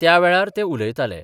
त्यावेळार ते उलयताले.